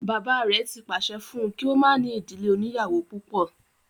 Bàbá rẹ̀ ti pàṣẹ fún un kí ó má ní ìdílé oníyàwó púpọ̀